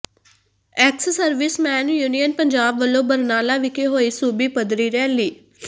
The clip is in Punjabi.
ਐਕਸ ਸਰਵਿਸਮੈਨ ਯੂਨੀਅਨ ਪੰਜਾਬ ਵੱਲੋਂ ਬਰਨਾਲਾ ਵਿਖੇ ਹੋਈ ਸੂਬੀ ਪੱਧਰੀ ਰੈਲੀ